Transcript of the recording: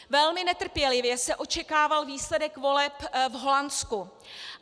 Velmi netrpělivě se očekával výsledek voleb v Holandsku.